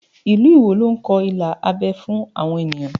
Ilu Iwo ló ń kọ ilà abẹ́ fún àwọn ènìyàn